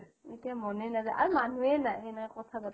আৰু মানুহেই নাই সেনেকৈ কথা পাতা